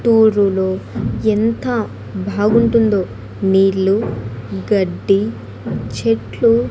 టూరులో ఎంత భాగుంటుందో నీళ్లు గడ్డి చెట్లు.